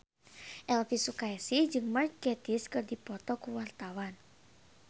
Elvy Sukaesih jeung Mark Gatiss keur dipoto ku wartawan